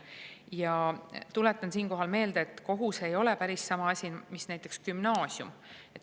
Ja tuletan siinkohal meelde, et kohus ei ole päris sama asi, mis näiteks gümnaasium.